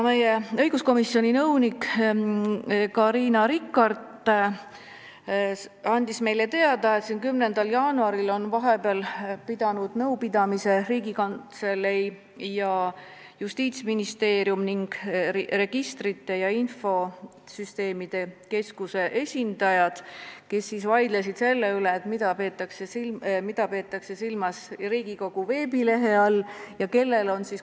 Meie õiguskomisjoni nõunik Carina Rikart andis meile teada, et 10. jaanuaril on vahepeal pidanud nõupidamise Riigikantselei, Justiitsministeeriumi ning Registrite ja Infosüsteemide Keskuse esindajad, kes vaidlesid muu hulgas selle üle, mida peetakse silmas Riigikogu veebilehe all.